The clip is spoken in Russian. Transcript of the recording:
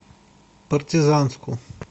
партизанску